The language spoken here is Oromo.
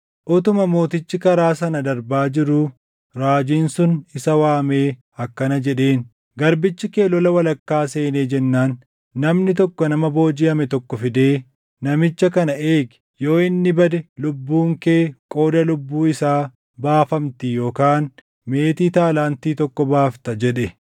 Utuma mootichi karaa sana darbaa jiruu raajiin sun isa waamee akkana jedheen; “Garbichi kee lola walakkaa seenee jennaan namni tokko nama boojiʼame tokko fidee, ‘Namicha kana eegi. Yoo inni bade lubbuun kee qooda lubbuu isaa baafamti yookaan meetii taalaantii tokkoo baafta’ jedhe.